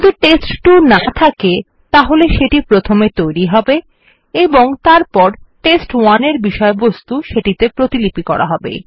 যদি টেস্ট2 না থকে তাহলে এটা প্রথমে তৈরী হবে এবং তারপর টেস্ট1 এর বিষয়বস্তু সেটি তে প্রতিলিপি করা হবে